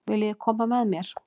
Viljiði koma með mér?